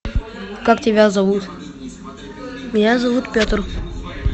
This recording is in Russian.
как тебя зовут меня зовут петр